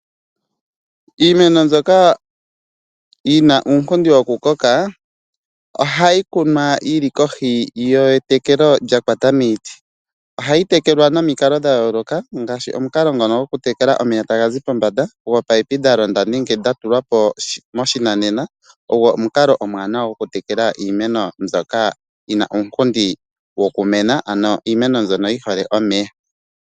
Iimeno mbyoka yina uunkundi wokukoka, ohayi kunwa yili metekelo lya kwata miiti. Ohayi tekelwa momikalo dhayooloka, ngaashi omukalo ngono gwokutekela omeya taga zi pombanda, ominino dha tulwapo moshinanena, ogwo omukalo omwaanawa gwokutekela iimeno mbyoka yina uunkundi wokumena, ano iimeno mbyono yihole omeya.